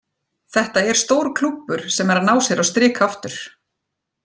Þetta er stór klúbbur sem er að ná sér á strik aftur.